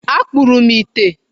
Akpụrụ m ite.